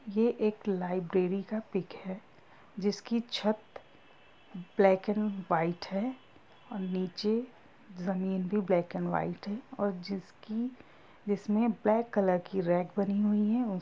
ये एक लाइब्रेरी का पिक है जिसकी छत ब्लैक एंड व्हाइट है। और नीचे जमीन भी ब्लैक एंड व्हाइट है और जिसकी जिसमे ब्लैक कलर की रेक बनी हुई है। उ--